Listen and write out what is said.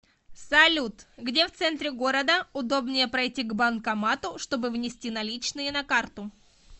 салют где в центре города удобнее пройти к банкомату чтобы внести наличные на карту